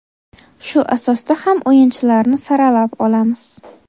Shu asosda ham o‘yinchilarni saralab olamiz.